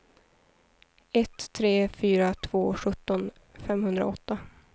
ett tre fyra två sjutton femhundraåtta